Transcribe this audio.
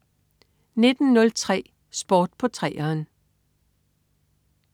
19.03 Sport på 3'eren